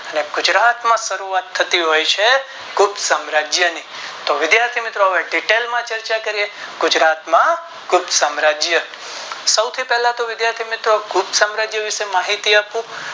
ને ગુજરાત માં શરૂઆત થતી હોય છે ગુપ્ત સામ્રાજ્ય ની તો વિધાથી મિત્રો Detail માં ચર્ચા કરીયે ગુજરાત માં ગુપ્ત સામ્રાજ્ય સૌથી પહેલા તો ગુપ્ત સામ્રાજ્ય વિષે માહિત આપું